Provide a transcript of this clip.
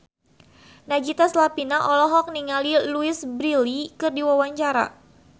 Nagita Slavina olohok ningali Louise Brealey keur diwawancara